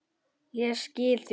Ég skila því.